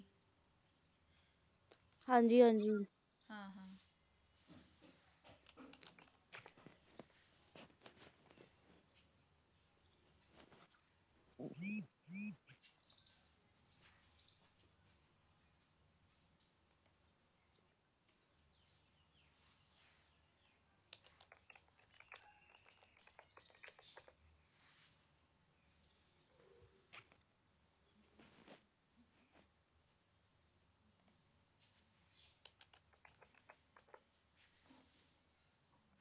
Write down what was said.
ਹਾਂਜੀ ਹਾਂਜੀ